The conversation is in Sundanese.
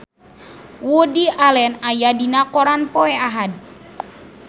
Woody Allen aya dina koran poe Ahad